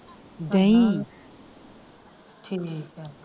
ਦਹੀ ਠੀਕ ਆ।